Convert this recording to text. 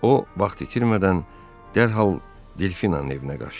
O vaxt itirmədən dərhal Delfinanın evinə qaçdı.